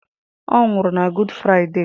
Ọ nwụrụ na Good Friday.